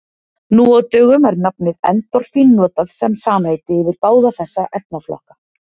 Nú á dögum er nafnið endorfín notað sem samheiti yfir báða þessa efnaflokka.